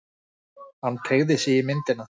Hann teygði sig í myndina.